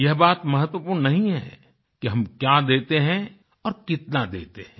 यह बात महत्वपूर्ण नहीं है कि हम क्या देते हैं और कितना देते हैं